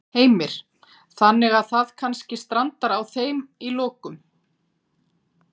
Heimir: Þannig að það kannski strandar á þeim í lokum?